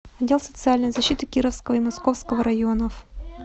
отдел социальной защиты кировского и московского районов